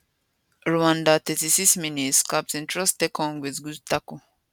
rwanda 36mins captain troostekong wit good tackle